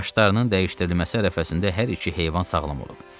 Başlarının dəyişdirilməsi ərəfəsində hər iki heyvan sağlam olub.